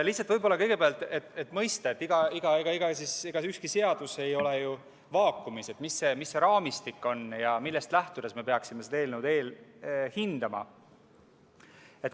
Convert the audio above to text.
Lihtsalt, võib-olla kõigepealt, et mõista – ega ükski seadus ei ole ju vaakumis –, milline see raamistik on ja millest lähtudes me peaksime seda eelnõu hindama.